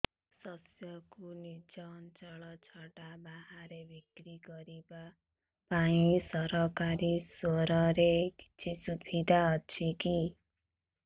ଶସ୍ୟକୁ ନିଜ ଅଞ୍ଚଳ ଛଡା ବାହାରେ ବିକ୍ରି କରିବା ପାଇଁ ସରକାରୀ ସ୍ତରରେ କିଛି ସୁବିଧା ଅଛି କି